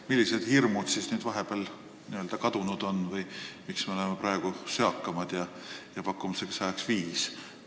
Millised hirmud vahepeal kadunud on – miks me oleme praegu söakamad ja pakume selleks tähtajaks viis aastat?